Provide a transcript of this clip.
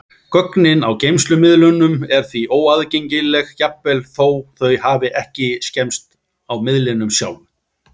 Gögnin á geymslumiðlunum eru því óaðgengileg, jafnvel þó þau hafi ekki skemmst á miðlinum sjálfum.